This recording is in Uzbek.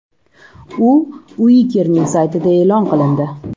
U Uikerning saytida e’lon qilindi.